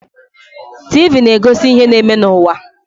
TV na-egosi ihe na-eme n'ụwa.